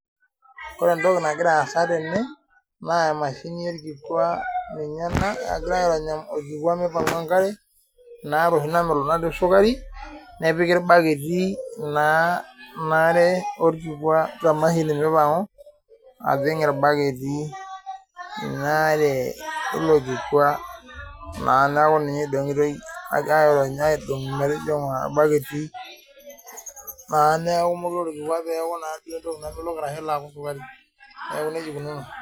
Ore entoki nagiraasa tene naa emashini olkikwa ninye ena egirai airony olkikwa meipang'u enkare inaare oshi namelok natii esukari, nepiki ilbaketi naa inaare olkikwa te mashini meipang'u ajing' ilbaketi inaare eilo kikwa naa neaku ninye eidong'itoi aagira airony aidong' metijing'a ilbaketi naa neaku mokure olkikwa peaku naduo entoki namelok arashu peeloaku esukari. Neaku neija eikununo.